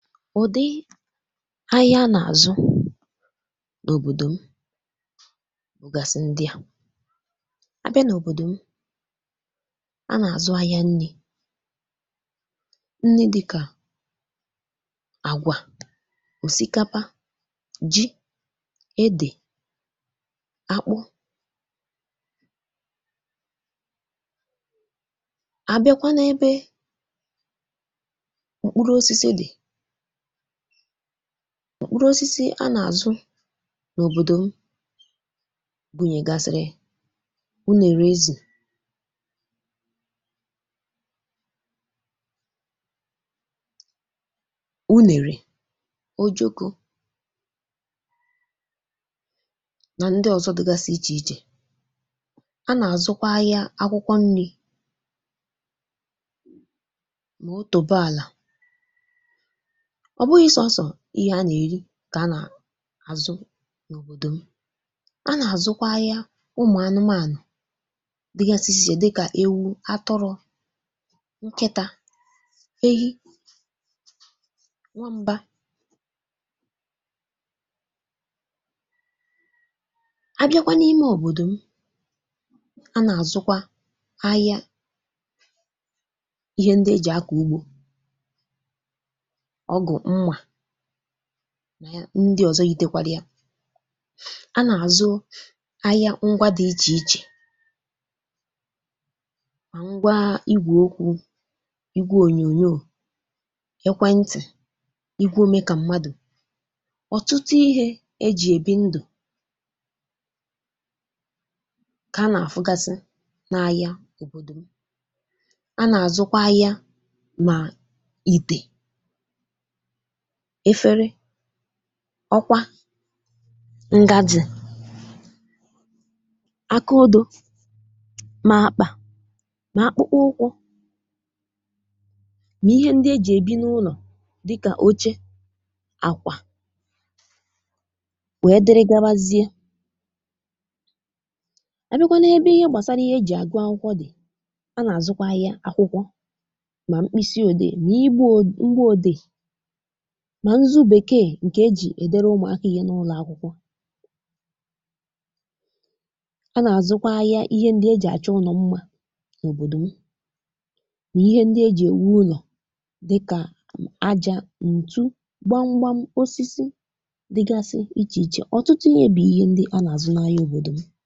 Ụ̀dị̀ ahịa nà-àzụ n’òbòdò m bụ̀ gàsị̀ ndị à, abịa n’òbòdò m a nà-àzụ ahịa nni̇, nni dịkà àgwà, òsìkàpà, ji, edè, àkpụ abịakwa na ebe m̀kpụrụ osisi dị, mkpụrụ osisi nà-àzụ n’òbòdò m gbùnyè gàsị̀rị̀ unèrè eze unèrè ojoko, na ndị ọ̀zọ dị̇ gàsị̀ ichè ichè, a nà-àzụkwa ahị̇ȧ akwụkwọ nri̇ mà ò tòbo àlà, ọ̀ bụghị̇ sọ̀ọsọ̀ ihe a nà-èri kà a nà-àzụ n’òbòdò m, a nà-àzụkwa ahịa ụmụ̀ anụmânụ̀ dị gàsịsị́ ichè ichè dịkà ewu, atụrụ, nkịtȧ, ehi, nwam̀ba a bịakwa n’ime òbòdò m a nà-àzụkwa ahịa ihe ndị e jì àkọ ụgbȯ, ọgụ, mma, na ndị ọ̀zọ yitekwara, a nà-àzụ ahịa ngwa dị̇ ichè ichè mà ngwàà igwe okwu̇, igwe ònyònyò, èkwentị̀, igwe omē kà mmadụ̀, ọ̀tụtụ ihe ejì èbi ndụ̀ kà a nà-àfụ gàsị̀ na ahịa òbòdò m, a nà-àzụkwa ahịa ma ìtè, efere, ọkwa, ngaji, akà odo, mà akpà, mà akpụkpọ ụkwụ na ihe ndị ejì èbi n’ụlọ̀ dịkà oche, àkwà, wèe dịrị gbabazie, abịakwanụ ebe ihe gbasara ihe ejì àgụ akwụkwọ dị̀, a nà-àzụkwa ihe akwụkwọ mà mkpịsị òdee, mà igbu òdee, mà ǹzụ Bèkee ǹkè ejì èdere ụmụ̀aka ihe n’ụlọ̀ akwụkwọ a nà-àzụkwa ahịa ihe ndị ejì àcha ùnò mma n’òbòdò m, mà ihe ndị ejì èwu ụlọ̀ dịkà ajȧ, ǹtụ, gbamgbam, osisi dị gàsị ichè ichè, ọ̀tụtụ ihe bụ̀ ihe ndị a nà-àzụ n’ahịa òbòdò m.